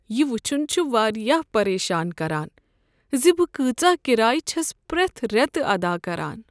یہ وُچھُن چھ واریاہ پریشان كران زِ بہٕ کۭژاہ کرایہ چھس پرٛیتھ ریتہٕ ادا كران۔